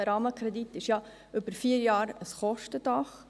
Der Rahmenkredit über die vier Jahre ist ja ein Kostendach.